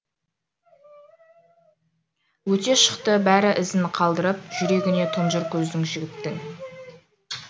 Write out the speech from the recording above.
өте шықты бәрі ізін қалдырып жүрегіне тұнжыр көзді жігіттің